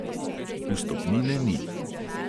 Vstopnine ni.